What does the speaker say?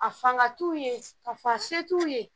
A fanga t'u ye ka fɔ a se t'u ye